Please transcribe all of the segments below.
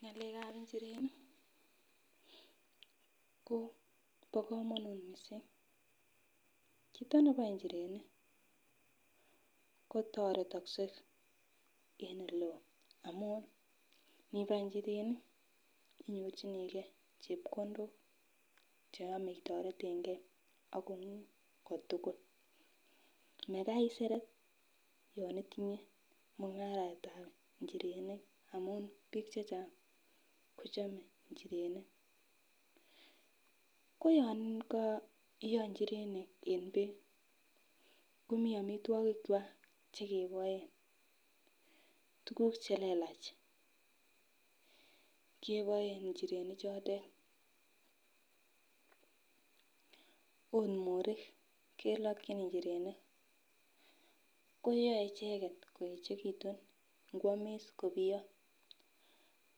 Ng'alekab inchirenik ko bo komonut missing', chito neboe inchirenik kotoretokse en oleo amun nibae inchirenik inyorchigee chepkondok cheyome itoretengee ak kongung kotukul, Makai iseret yon itinyee mung'aretab inchirenik amun bik chechang' kochome nchirenik. Ko yon koiyo nchirenik en beek komiii omitwokik kwak chekeboen, tukuk chelelach keboen inchirenik chotet ot morik keloki inchirenik koyoe icheket koyechekitun inkwomiss kobiyo,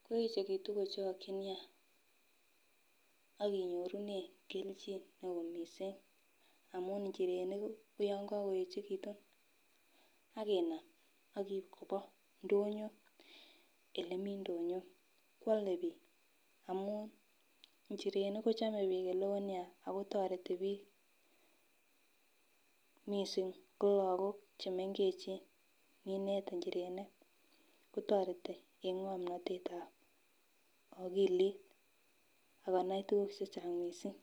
koyechekitun kochokin nia ak inyorunen keljin neo missing' amun inchirenik koyon kokoyechekitut akinam ak in koba ndonyo olemii ndonyo kwole bik amun inchirenik kochome bik oleo nia ako toreti bik missing ko lokok chemengechen ninet inchirenik kotoreti en ngomnotetab okilit akonai tukuk chechang' missing'.